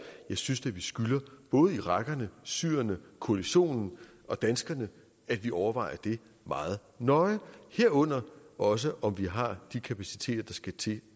jeg synes da vi skylder både irakerne syrerne koalitionen og danskerne at vi overvejer det meget nøje herunder også om vi har de kapaciteter der skal til